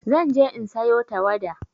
Zan je in sayo tawada.